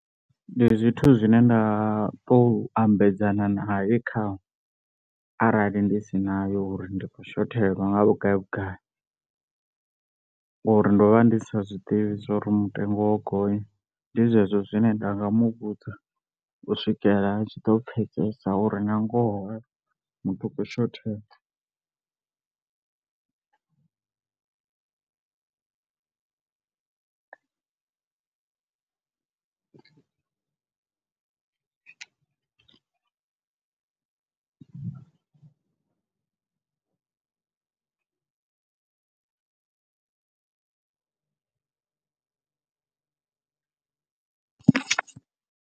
Ndi zwithu zwine nda to ambedzana nae khanwe arali ndi si nayo uri ndi khou shothelwa nga vhugai vhugai, ngori ndo vha ndi sa zwiḓivhi zwori mutengo wo gonya, ndi zwezwo zwine nda nga muvhudza u swikela a tshi ḓo pfhesesa uri nga ngoho muthu u khou shothelwa.